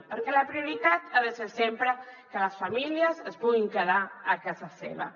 perquè la prioritat ha de ser sempre que les famílies es puguin quedar a casa seva